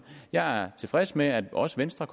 jeg er tilfreds med at også venstre